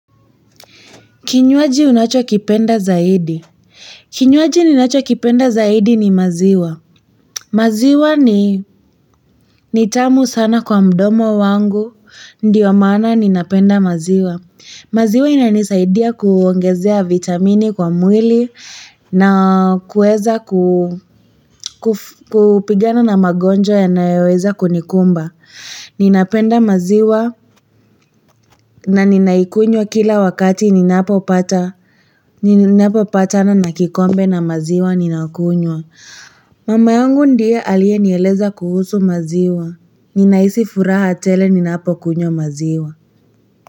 Kinywaji unachokipenda zaidi. Kinywaji ninachokipenda zaidi ni maziwa. Maziwa ni ni tamu sana kwa mdomo wangu, ndiyo maana ninapenda maziwa. Maziwa inanisaidia kuongezea vitamini kwa mwili na kuweza kupigana na magonjwa yanayoweza kunikumba. Ninapenda maziwa na ninaikunywa kila wakati ninapopatana na kikombe na maziwa ninakunywa. Mama yangu ndio aliyenieleza kuhusu maziwa. Ninahisi furaha tele ninapokunywa maziwa.